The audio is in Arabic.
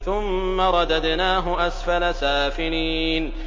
ثُمَّ رَدَدْنَاهُ أَسْفَلَ سَافِلِينَ